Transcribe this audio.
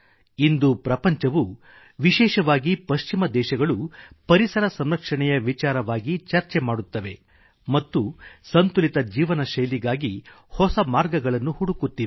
ಇಂದು ಪ್ರಪಂಚವು ವಿಶೇಷವಾಗಿ ಪಶ್ಚಿಮ ದೇಶಗಳು ಪರಿಸರಸಂರಕ್ಷಣೆಯ ವಿಚಾರವಾಗಿಚರ್ಚೆ ಮಾಡುತ್ತದೆ ಮತ್ತು ಸಂತುಲಿತ ಜೀವನಶೈಲಿಗಾಗಿ ಹೊಸ ಮಾರ್ಗಗಳನ್ನು ಹುಡುಕುತ್ತಿವೆ